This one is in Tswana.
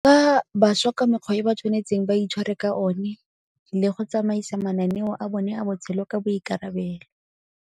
Fa bašwa ka mekgwa e ba tshwanetseng ba itshware ka one le go tsamaisa mananeo a bone a botshelo ka boikarabelo.